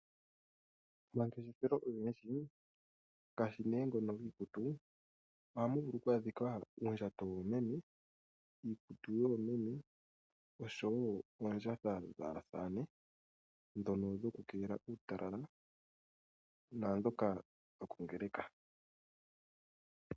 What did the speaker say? Omangeshefelo ogendji ngaashi ne ngono giikutu ohamu vulu oku adhika uundjato woomeme , iikutu yoomeme oshowo oondjatha dhaasamane ndhono dho kukeelela uutala naa ndhoka dho kongeleka.